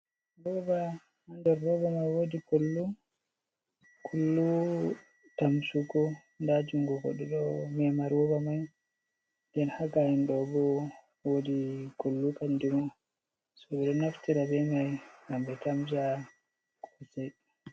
Roba, haa nder roba mai wodi kullu, kullu tamsugo. Nda jungo goɗɗo ɗo mema roba mai. Nden haa ga'en ɗo bo woodi kullu kanjuma. So, ɓe ɗo naftira be mai ngam ɓe tamsa kosai.